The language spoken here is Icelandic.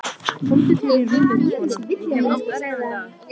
Komdu þér í rúmið, kona, ég hef átt erfiðan dag.